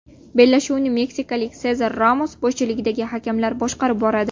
Bellashuvni meksikalik Sezar Ramos boshchiligidagi hakamlar boshqarib boradi.